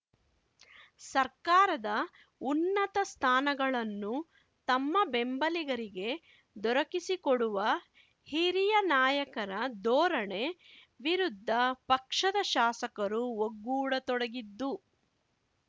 ಸರ್ಕಾರದ ಉನ್ನತ ಸ್ಥಾನಗಳನ್ನು ತಮ್ಮ ಬೆಂಬಲಿಗರಿಗೆ ದೊರಕಿಸಿಕೊಡುವ ಹಿರಿಯ ನಾಯಕರ ಧೋರಣೆ ವಿರುದ್ಧ ಪಕ್ಷದ ಶಾಸಕರು ಒಗ್ಗೂಡತೊಡಗಿದ್ದು